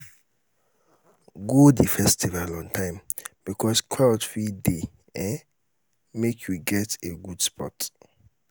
go um the festival on time because um crowd fit de um make you get a good spot